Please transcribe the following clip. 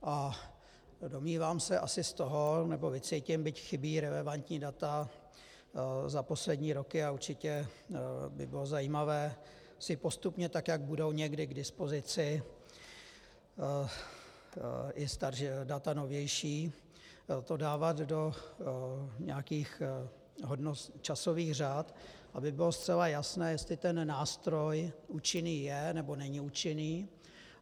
A domnívám se asi z toho, nebo vycítím, byť chybí relevantní data za poslední roky, a určitě by bylo zajímavé si postupně tak, jak budou někdy k dispozici i data novější, to dávat do nějakých časových řad, aby bylo zcela jasné, jestli ten nástroj účinný je, nebo není účinný.